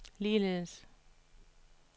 ligeledes